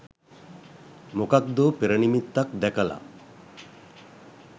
මොකද්දෝ පෙරනිමිත්තක් දැකල